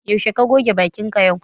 Zaushe ka goge bakin ka yau?